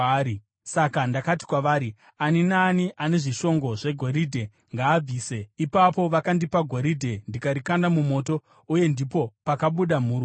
Saka ndakati kwavari, ‘Ani naani ane zvishongo zvegoridhe, ngaabvise.’ Ipapo vakandipa goridhe ndikarikanda mumoto, uye ndipo pakabuda mhuru iyi!”